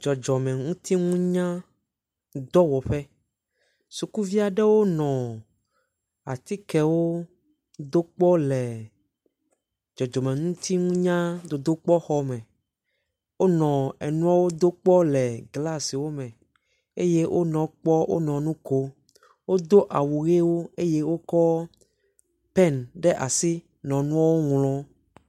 Dzɔdzɔmeŋutinunyadɔwɔƒe. sukuvi aɖewo nɔ atikewo do kpɔ le dzɔdzɔmeŋutinunyadodokpɔxɔme. Wonɔ enuawo do kpɔ le glasiwo me eye wonɔ ekpɔ wonɔ nu ko. Wodo awɔ ʋiwo eye wokɔ peni ɖe asi nɔ nua ŋlɔ.